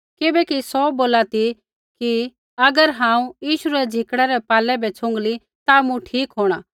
किबैकि सौ बोला ती कि अगर हांऊँ यीशु रै झिकड़ै पालै बै छ़ुँगली ता मूँ ठीक होंणा